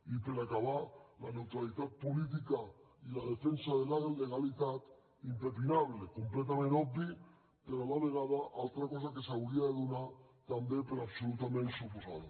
i per acabar la neutralitat política i la defensa de la legalitat impepinable completament obvi però a la vegada altra cosa que s’hauria de donar també per absolutament suposada